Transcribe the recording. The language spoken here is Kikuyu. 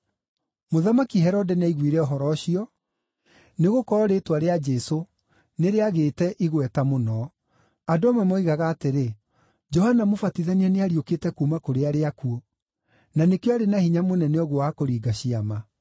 Mũthamaki Herode nĩaiguire ũhoro ũcio, nĩgũkorwo rĩĩtwa rĩa Jesũ nĩrĩagĩte igweta mũno. Andũ amwe moigaga atĩrĩ, “Johana Mũbatithania nĩariũkĩte kuuma kũrĩ arĩa akuũ, na nĩkĩo arĩ na hinya mũnene ũguo wa kũringa ciama.”